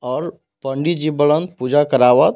और पंडित जी बड़न पूजा करावत।